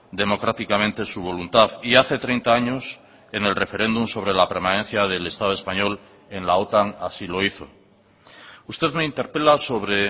democráticamente su voluntad y hace treinta años en el referéndum sobre la permanencia del estado español en la otan así lo hizo usted me interpela sobre